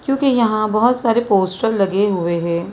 क्योंकि यहां बहुत सारे पोस्टर लगे हुए हैं।